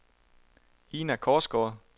Ina Korsgaard